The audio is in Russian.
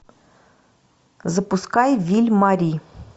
запускай виль мари